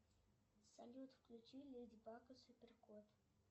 салют включи леди баг и супер кот